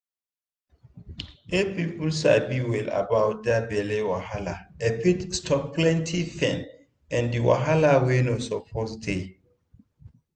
if people sabi well about that belly wahala e fit stop plenty pain and wahala wey no suppose dey.